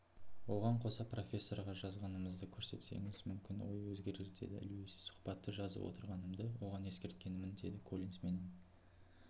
оған қоса профессорға жазғаныңызды көрсетсеңіз мүмкін ойы өзгерердеді льюис сұхбатты жазып отырғанымды оған ескерткенмін деді коллинс менің